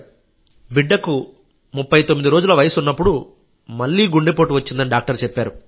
బిడ్డకు 39 రోజుల వయస్సు ఉన్నప్పుడు మళ్ళీ గుండెపోటు వచ్చిందని డాక్టర్ చెప్పారు